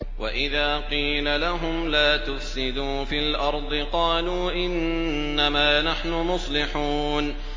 وَإِذَا قِيلَ لَهُمْ لَا تُفْسِدُوا فِي الْأَرْضِ قَالُوا إِنَّمَا نَحْنُ مُصْلِحُونَ